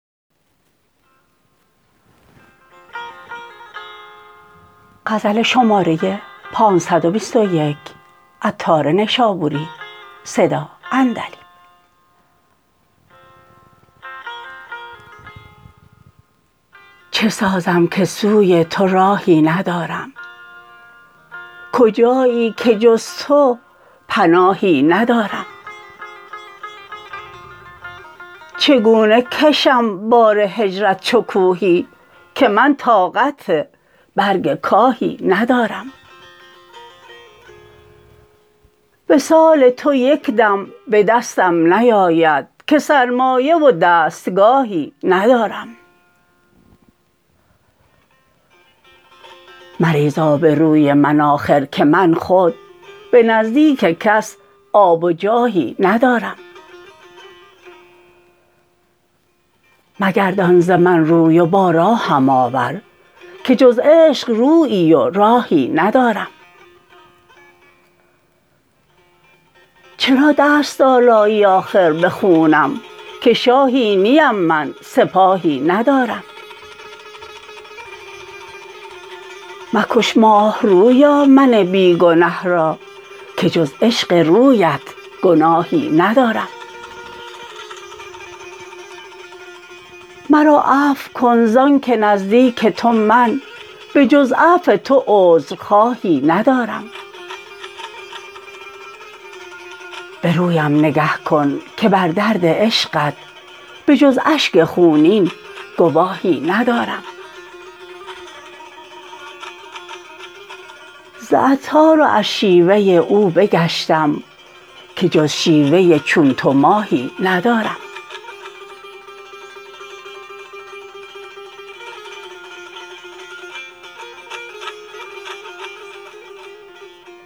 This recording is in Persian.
چه سازم که سوی تو راهی ندارم کجایی که جز تو پناهی ندارم چگونه کشم بار هجرت چو کوهی که من طاقت برگ کاهی ندارم وصال تو یکدم به دستم نیاید که سرمایه و دستگاهی ندارم مریز آب روی من آخر که من خود به نزدیک کس آب و جاهی ندارم مگردان ز من روی و با راهم آور که جز عشق رویی و راهی ندارم چرا دست آلایی آخر به خونم که شاهی نیم من سپاهی ندارم مکش ماه رویا من بی گنه را که جز عشق رویت گناهی ندارم مرا عفو کن زانکه نزدیک تو من به جز عفو تو عذرخواهی ندارم به رویم نگه کن که بر درد عشقت به جز اشک خونین گواهی ندارم ز عطار و از شیوه او بگشتم که جز شیوه چون تو ماهی ندارم